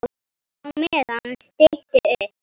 Á meðan stytti upp.